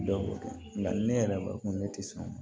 Dɔ wolo nka ni ne yɛrɛ b'a dɔn ko ne tɛ sɔn